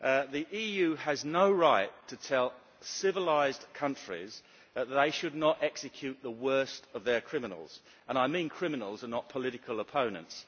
The EU has no right to tell civilised countries that they should not execute the worst of their criminals and I mean criminals and not political opponents.